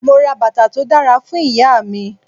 Mo ra bàtà tó dára fún Ìyá mi.